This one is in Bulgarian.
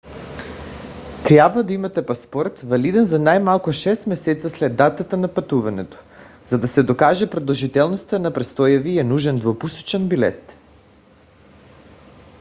трябва да имате паспорт валиден за най-малко 6 месеца след датата на пътуването. за да се докаже продължителността на престоя ви е нужен двупосочен билет